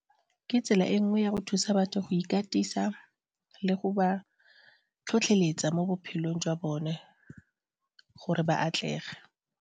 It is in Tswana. Ke tsela e nngwe ya go thusa batho go ikatisa le go ba tlhotlheletsa mo bophelong jwa bone gore ba atlege.